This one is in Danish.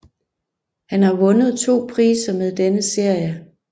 Han har vundet to priser med denne serie